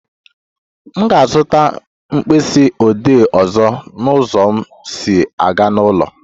M ga-azụta mkpịsị odee ọzọ na ụzọ m si aga n'ụlọ